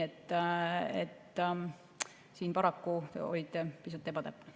Siin paraku olite pisut ebatäpne.